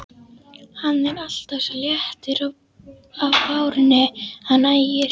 Hann er alltaf svo léttur á bárunni hann Ægir!